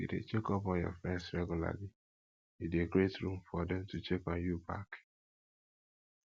if you de check up on your friends regularly you de create room for dem to check on you back